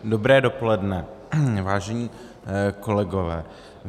Dobré dopoledne, vážení kolegové.